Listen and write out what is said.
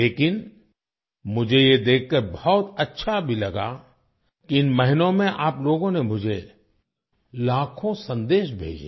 लेकिन मुझे ये देखकर बहुत अच्छा भी लगा कि इन महीनों में आप लोगों ने मुझे लाखों संदेश भेजे